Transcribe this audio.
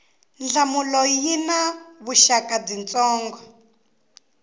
nhlamulo yi na vuxaka byitsongo